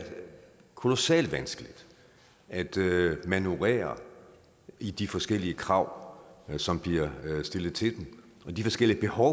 kolossalt vanskeligt at manøvrere i de forskellige krav som bliver stillet til dem og de forskellige behov